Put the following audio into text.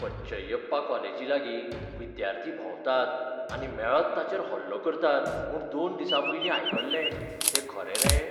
पच्चैयप्पा कॉलेजी लागीं विद्यार्थी भोंवतात आनी मेळत ताचेर हल्लो करतात म्हूण दोन दिसांपयलीं आयकल्लें, तें खरें रे?